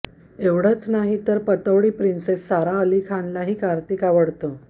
एवढंच नाही तर पतौडी प्रिन्सेस सारा अली खानलाही कार्तिक आवडतो